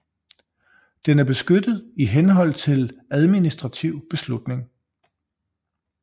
Den er beskyttet i henhold til administrativ beslutning